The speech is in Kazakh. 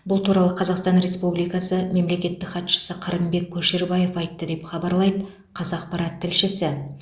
бұл туралы қазақстан республикасы мемлекеттік хатшысы қырымбек көшербаев айтты деп хабарлайды қазақпарат тілшісі